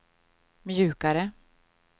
mjukare